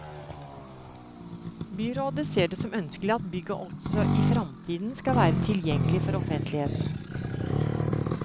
Byrådet ser det som ønskelig at bygget også i framtiden skal være tilgjengelig for offentligheten.